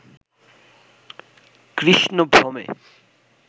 Krishna ভ্রমে